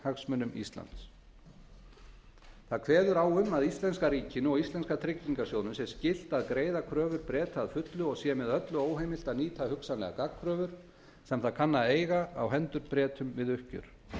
hagsmunum íslands það kveður á um að íslenska ríkinu og íslenska tryggingarsjóðnum sé skylt að greiða kröfur breta að fullu og sé með öllu óheimilt að nýta hugsanlega gagnkröfur sem það kann að eiga á hendur bretum við uppgjör